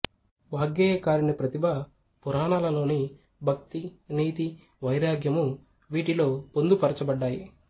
వాగ్గేయకారుని ప్రతిభ పురాణాలలోని భక్తి నీతి వైరాగ్యము వీటిలో పొందుపరచబడ్డాయి